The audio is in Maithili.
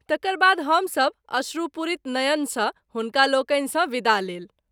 तकर बाद हम सभ अश्रुपूरित नयन सँ हुनकालोकनि सँ विदा लेल।